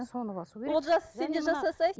олжас сен де жасасаңшы